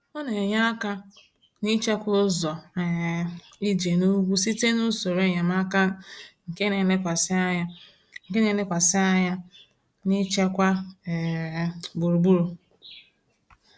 Ọ na-enye aka n’ịchekwa ụzọ um ije n’ugwu site n’usoro enyemaka nke na-elekwasị anya nke na-elekwasị anya n’ichekwa um gburugburu.